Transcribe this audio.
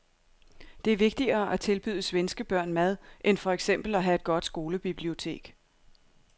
Det er vigtigere at tilbyde svenske børn mad end for eksempel at have et godt skolebibliotek.